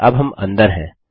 अब हम अंदर हैं